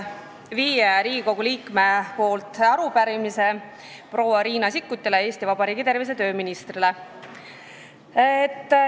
Viis Riigikogu liiget annavad üle arupärimise proua Riina Sikkutile, Eesti Vabariigi tervise- ja tööministrile.